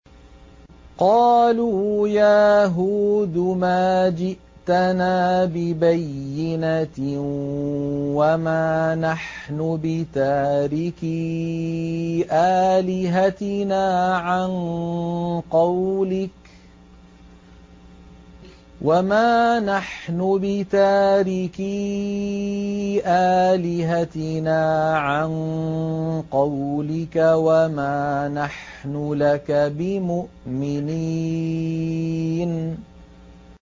قَالُوا يَا هُودُ مَا جِئْتَنَا بِبَيِّنَةٍ وَمَا نَحْنُ بِتَارِكِي آلِهَتِنَا عَن قَوْلِكَ وَمَا نَحْنُ لَكَ بِمُؤْمِنِينَ